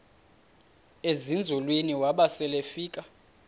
ezinzulwini waba selefika